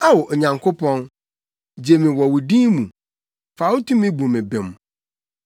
Ao, Onyankopɔn, gye me wɔ wo din mu; fa wo tumi bu me bem.